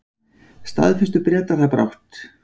Staðfestu Bretar það brátt.